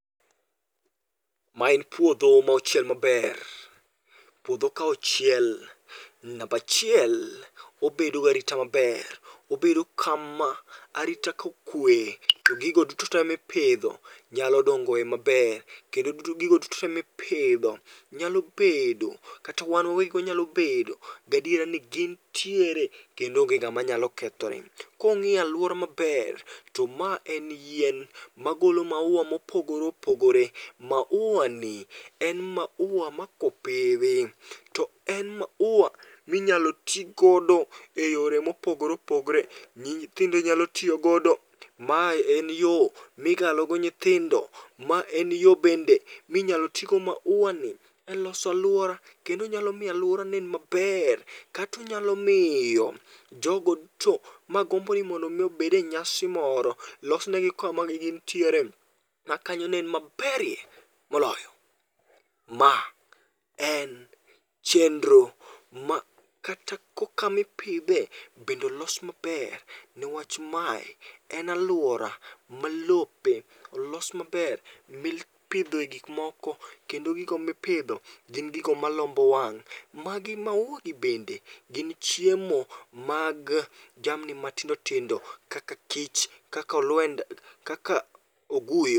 Ma en puodho mo ochiel maber, puodho ka ochiel nambachiel obedo garita maber. Obedo kama arita kokwe, to gigo duto te mipidho nyalo dongoe maber. Kendo duto gigo duto te mipidho nyalo bedo kata wan wawegigo inyalo bedo gadiera ni gintiere kendo onge ng'ama nyalo kethoni. Kung'iyo alwora maber, to ma en yien magolo maua mopogore opogore. Maua ni en maua ma kopidhi, to en maua minyalo tigodo e yore mopogore opogore. Nyithindo nyalo tiyogodo, mae en yo migalo go nyithindo. Ma en yo bende minyalo tigo maua ni e losalwora, kendo nyalo miyo alwora nen maler. Katonyalo miyo jogo duto magombo ni mondo bede nyasi moro, losnegi kamanegintiere ma kanyo nen maberie moloyo. Ma en chendro ma kata kokapimidhe bednolos maber, niwach mae en alwora ma lope olos maber mipidho e gikmoko. Kendo gigo mipidho gin gigo malombo wang'. Magi maua gi bende gin chiemo mag jamni matindo tindo, kaka kich, kaka olwenda, kaka oguyo.